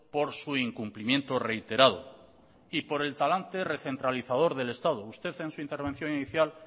por su incumplimiento reiterado y por el talante recentralizador del estado usted en su intervención inicial